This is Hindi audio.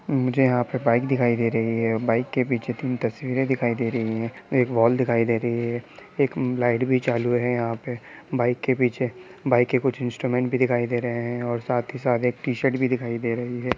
मुझे यहाँ पे बाइक दिखाई दे रही है बाइक के पीछे तीन तस्वीरें दिखाई दे रही है एक वोल दिखाई दे रही है एक लाइट भी चालू है यहाँ पे | बाइक के पीछे बाइक के कुछ इंस्ट्रूमेंट भी दिखाई दे रहे है और साथ ही साथ एक टी-शर्ट भी दिखाई दे रही है।